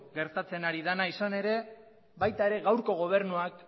gertatzen ari dena izan ere baita ere gaurko gobernuak